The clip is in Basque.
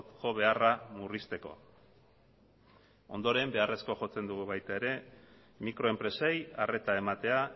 jo beharra murrizteko ondoren beharrezkoa jotzen dugu baita ere mikroenpresei arreta ematea